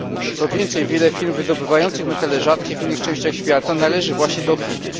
Co więcej, wiele firm wydobywających metale rzadkie w innych częściach świata należy właśnie do Chin.